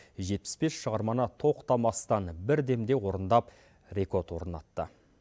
жетпіс бес шығарманы тоқтамастан бір демде орындап рекорд орнатты